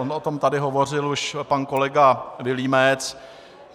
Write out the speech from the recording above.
On o tom tady hovořil už pan kolega Vilímec.